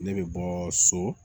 Ne bɛ bɔ so